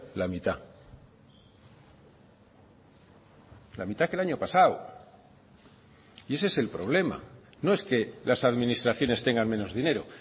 la mitad la mitad que el año pasado y ese es el problema no es que las administraciones tengan menos dinero